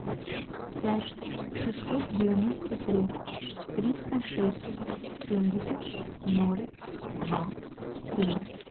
пять шестьсот девяносто три триста шесть семьдесят ноль два семь